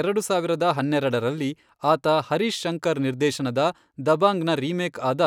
ಎರಡು ಸಾವಿರದ ಹನ್ನೆರೆಡರಲ್ಲಿ, ಆತ ಹರೀಶ್ ಶಂಕರ್ ನಿರ್ದೇಶನದ ದಬಾಂಗ್ನ ರೀಮೇಕ್ಆದ